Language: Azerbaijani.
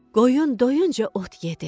Qoyun doyunca ot yedi.